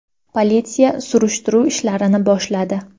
Politsiya surishtiruv ishlarini boshladi.